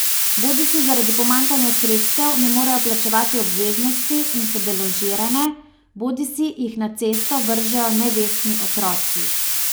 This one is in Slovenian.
Bodisi zaradi pomanjkanja sredstev ne morejo plačevati obveznosti in so deložirane, bodisi jih na cesto vržejo nevestni otroci.